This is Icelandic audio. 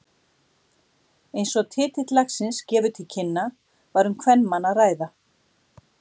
Eins og titill lagsins gefur til kynna var um kvenmann að ræða.